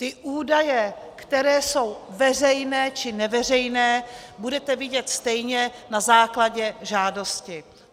Ty údaje, které jsou veřejné, či neveřejné, budete vidět stejně na základě žádosti.